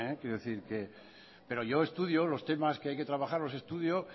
pero yo estudio los temas que hay que trabajar los estudio